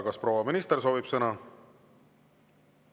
Kas proua minister soovib sõna?